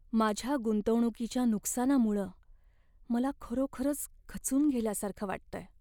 माझ्या गुंतवणुकीच्या नुकसानामुळं मला खरोखरच खचून गेल्यासारखं वाटतंय.